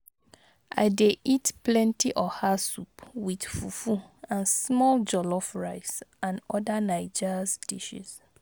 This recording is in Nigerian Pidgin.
I dey eat plenty oha soup with fufu and small jollof rice and oda Naija's dishes.